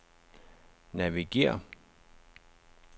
navigér